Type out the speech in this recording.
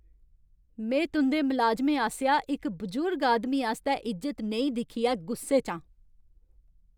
में तुं'दे मलाजमें आसेआ इक बजुर्ग आदमी आस्तै इज्जत नेईं दिक्खियै गुस्से च आं।